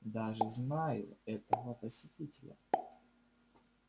даже знаю этого посетителя